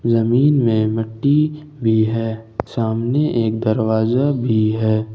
जमीन में मिट्टी भी है सामने एक दरवाजा भी है।